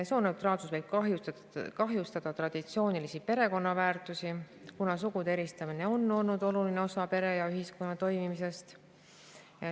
Sooneutraalsus võib kahjustada traditsioonilisi perekonnaväärtusi, kuna sugude eristamine on olnud oluline osa pere ja ühiskonna toimimisest.